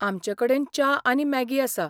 आमचे कडेन च्या आनी मॅगी आसा.